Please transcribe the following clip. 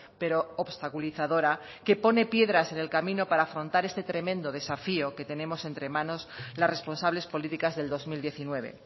pero obstaculizadora que pone piedras en el camino para afrontar este tremendo desafío que tenemos entre manos las responsables políticas del dos mil diecinueve